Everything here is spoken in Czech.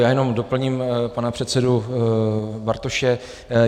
Já jenom doplním pana předsedu Bartoše.